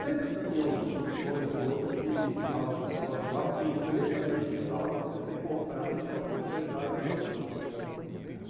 Sempre tinha um uma pessoa ou outra que estudava na mesma escola do bairro, que você nem sabia que estudava lá, de repente você encontra ela na escola e começa a ter amizade, pegar o mesmo ônibus junto e assim por diante.